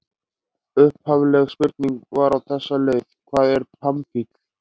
Upphafleg spurning var á þessa leið: Hvað er pamfíll?